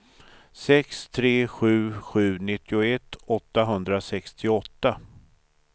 sex tre sju sju nittioett åttahundrasextioåtta